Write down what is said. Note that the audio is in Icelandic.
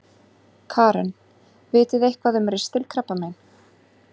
Karen: Vitið þið eitthvað um ristilkrabbamein?